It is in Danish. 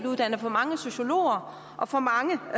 uddannet for mange sociologer og for mange